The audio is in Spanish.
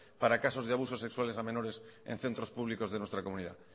para casos de abusos sexuales a menores en centros públicos de nuestra comunidad